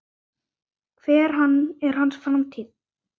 Hver er hans framtíð?